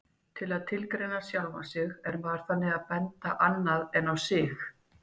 Til að tilgreina sjálfan sig er maður þannig að benda annað en á sig.